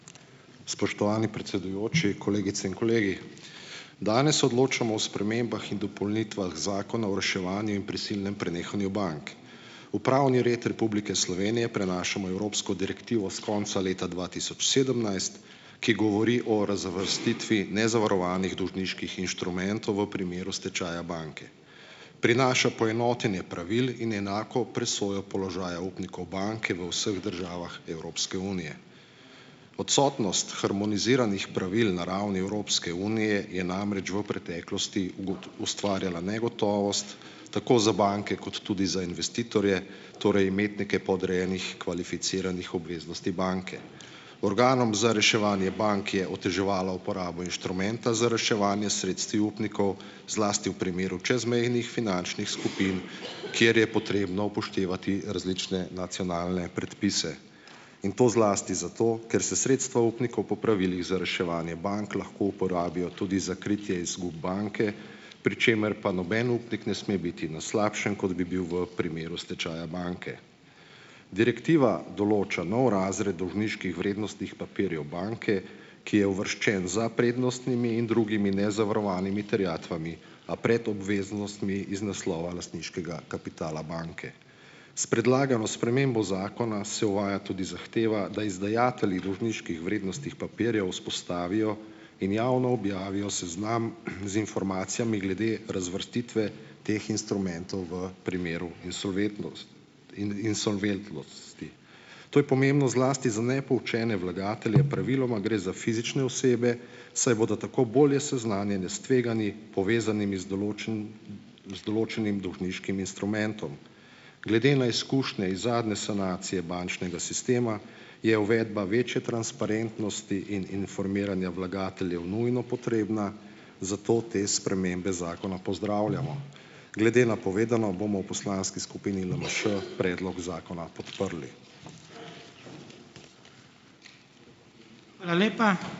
Spoštovani predsedujoči, kolegice in kolegi. Danes odločamo o spremembah in dopolnitvah Zakona o reševanju in prisilnem prenehanju bank. V pravni red Republike Slovenije prenašamo Evropsko direktivo s konca leta dva tisoč sedemnajst, ki govori o razvrstitvi nezavarovanih dolžniških inštrumentov v primeru stečaja banke. Prinaša poenotenje pravil in enako presojo položaja upnikov banke v vseh državah Evropske unije. Odsotnost harmoniziranih pravil na ravni Evropske unije je namreč v preteklosti ustvarjala negotovost, tako za banke kot tudi za investitorje, torej imetnike podrejenih kvalificiranih obveznosti banke. Organom za reševanje bank je oteževalo uporabo inštrumenta za reševanje sredstvi upnikov, zlasti v primeru čezmejnih finančnih skupin , kjer je potrebno upoštevati različne nacionalne predpise. In to zlasti zato, ker se sredstva upnikov po pravilih za reševanje bank lahko uporabijo tudi za kritje izgub banke, pri čemer pa noben upnik ne sme biti na slabšem, kot bi bil v primeru stečaja banke. Direktiva določa nov razred dolžniških vrednostnih papirjev banke, ki je uvrščen za prednostnimi in drugimi nezavarovanimi terjatvami, a pred obveznostmi iz naslova lastniškega kapitala banke. S predlagano spremembo zakona se uvaja tudi zahteva, da izdajatelji dolžniških vrednostnih papirjev vzpostavijo in javno objavijo seznam, z informacijami glede razvrstitve teh instrumentov v primeru insolventnosti. To je pomembno zlasti za nepoučene vlagatelje, praviloma gre za fizične osebe, saj bodo tako bolje seznanjene s tveganji, povezanimi z z določenim dolžniškim instrumentom. Glede na izkušnje iz zadnje sanacije bančnega sistema je uvedba večje transparentnosti in informiranja vlagateljev nujno potrebna, zato te spremembe zakona pozdravljamo. Glede na povedano bomo v poslanski skupini LMŠ predlog zakona podprli. Hvala lepa.